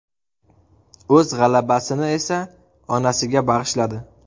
O‘z g‘alabasini esa onasiga bag‘ishladi.